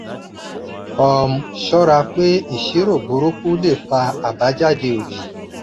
um ṣọra pé ìṣirò burúkú lè fà abajade odi.